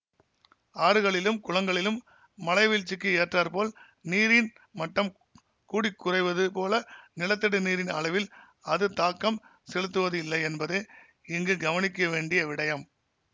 ஆறுகளிலும் குளங்களிலும் மழைவீழ்ச்சிக்கு ஏற்றாப்போல் நீரின் மட்டம் கூடிக்குறைவது போல நிலத்தடி நீரின் அளவில் அது தாக்கம் செலுத்துவது இல்லை என்பதே இங்கு கவனிக்க வேண்டிய விடயம்